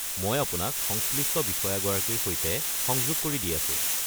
মই আপোনাক সংশ্লিষ্ট বিষয়াগৰাকীৰ সৈতে সংযোগ কৰি দি আছো।